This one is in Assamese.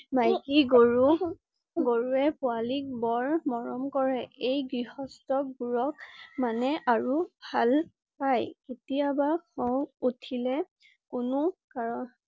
মাইকী গৰু~গৰুৱে পুৱালিক বৰ মৰম কৰে। এই গৃহস্ত বোৰক মানে আৰু ভাল পাই। কেতিয়াবা খং উঠিলে কোনো কাৰ